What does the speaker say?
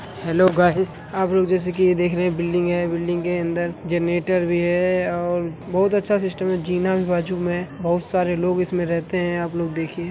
Hello guys आप लोग जैसे की ये देख रहे हैं ये बिल्डिंग हैं बिल्डिंग के अंदर जनरेटर भी हैं और बहोत अच्छा सिस्टम हैं जीना भी बाजु में हैं बहोत सारे लोग इसमें रहेते हैं। आप लोग देखिए--